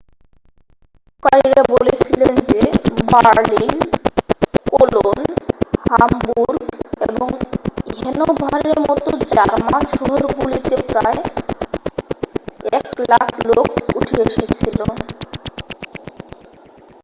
বিক্ষুব্ধকারীরা বলেছিলেন যে Berlin Cologne Hamburg এবং হ্যানোভারের মতো জার্মান শহরগুলিতে প্রায় 100,000 লোক উঠে এসেছিল